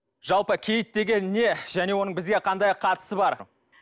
жалпы киіт деген не және оның бізге қандай қатысы бар